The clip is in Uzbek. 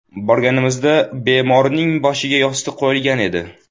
Borganimizda bemorning boshiga yostiq qo‘yilgan edi.